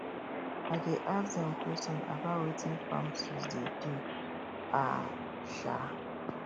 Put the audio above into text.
i dey ask dem question about wetin farm tools dey do um um